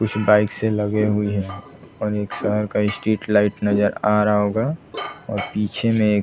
कुछ बाइक्स लगे हुए हैं और एक शहर का स्ट्रीट लाइट नजर आ रहा होगा और पीछे में एक --